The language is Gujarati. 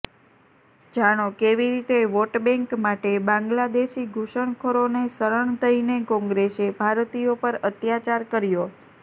જાણો કેવીરીતે વોટબેંક માટે બાંગ્લાદેશી ઘૂસણખોરો ને શરણ દઈને કોંગ્રેસે ભારતીયો પર અત્યાચાર કર્યો